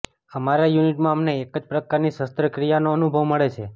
અમારા યુનિટમાં અમને એક જ પ્રકારની શસ્ત્રક્રિયાનો અનુભવ મળે છે